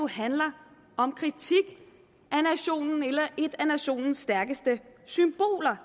handler om kritik af nationen eller et af nationens stærkeste symboler